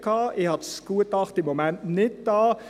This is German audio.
Ich habe das Gutachten im Moment nicht hier;